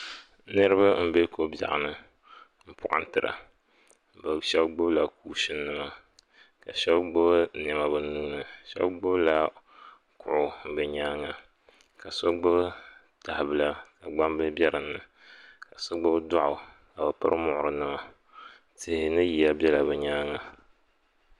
Niraba n bɛ ko bieɣi ni n poɣintra. Bɛ sheba gbubika kuushin nima ma shebi gbubi niema bɛ nuuni. So gbubila kuɣu bɛ nyaaŋa ka so gbubi tahibila ka gbambila be dini ka so gbubi doɣu ka bɛ piri muɣirinima. Yihi ni ya bela be nyaanŋa.